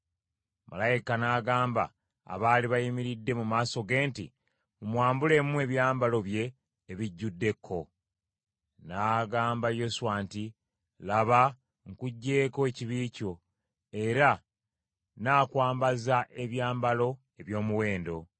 Malayika n’agamba abaali bayimiridde mu maaso ge nti, “Mumwambulemu ebyambalo bye ebijjudde ekko.” N’agamba Yoswa nti, “Laba nkuggyeeko ekibi kyo, era nnaakwambaza ebyambalo eby’omuwendo.”